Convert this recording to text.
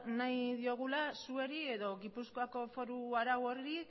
nahi diogula zuei edo gipuzkoako foru arau horri